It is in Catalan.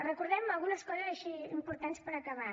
recordem algunes coses així importants per acabar